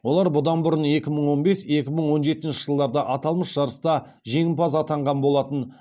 олар бұдан бұрын екі мың он бес екі мың он жетінші жылдарда аталмыш жарыста жеңімпаз атанған болатын